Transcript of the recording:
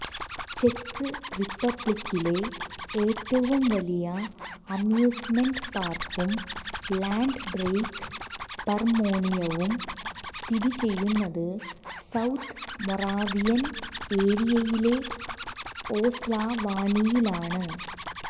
check റിപ്പബ്ലിക്കിലെ ഏറ്റവും വലിയ അമ്യൂസ്മെന്റ് പാർക്കും ലാൻഡ് ബ്രേക്ക് പർമോണിയവും സ്ഥിതിചെയ്യുന്നത് സൌത്ത് മൊറാവിയൻ ഏരിയയിലെ ഓസ്ലവാണിയിലാണ്